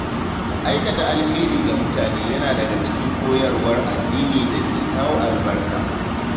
Aikata alheri ga mutane yana daga cikin koyarwar addini da ke kawo albarka.